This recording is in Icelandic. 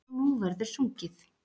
Og nú verður sungið.